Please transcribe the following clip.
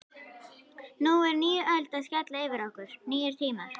Nú er ný öld að skella yfir okkur, nýir tímar.